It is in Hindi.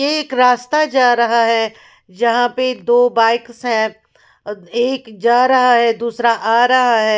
यह एक रास्ता जा रहा है जहाँ पे दो बाइक्स हैं अ एक जा रहा है दूसरा आ रहा है।